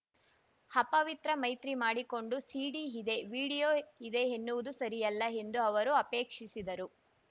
ಅಪವಿತ್ರ ಮೈತ್ರಿ ಮಾಡಿಕೊಂಡು ಸಿಡಿ ಇದೆ ವೀಡಿಯೋ ಇದೆ ಎನ್ನುವುದು ಸರಿಯಲ್ಲ ಎಂದು ಅವರು ಆಪೇಕ್ಷಿಸಿದರು